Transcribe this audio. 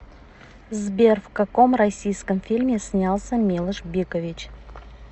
сбер в каком россииском фильме снялся милош бикович